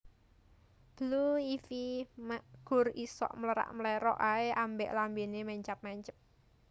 Blue Ivy mek gur isok mlerak mlerok ae ambek lambene mencap mencep